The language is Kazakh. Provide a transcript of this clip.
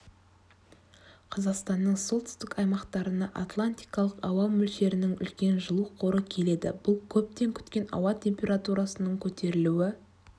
қазақстанның солтүстік аймақтарына атлантикалық ауа мөлшерінің үлкен жылу қоры келді бұл көптен күткен ауа температурасының көтерілуі